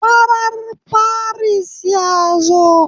Farar firist ya zo.